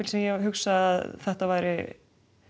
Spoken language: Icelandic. sem ég hugsaði að þetta væri